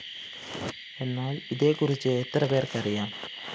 എന്നാല്‍ ഇതേക്കുറിച്ച് എത്രപേര്‍ക്ക് അറിയാം